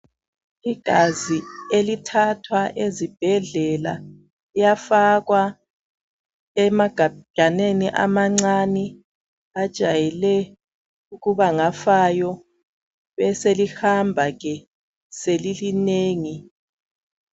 Igazi elithathwa ezibhedlela liyafakwa emagajaneni amancane. Ajayele ukuba ngafayo. Beselihamba ke selilinengi.